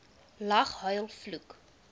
lag huil vloek